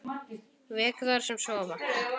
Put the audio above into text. Vek þær sem sofa.